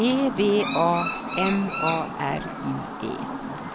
E V A M A R I E